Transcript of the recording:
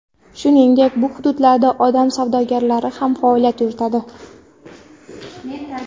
Shuningdek, bu hududlarda odam savdogarlari ham faoliyat yuritadi.